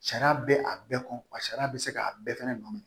Sariya bɛ a bɛɛ kɔ wa sariya bɛ se k'a bɛɛ fɛnɛ nɔ minɛ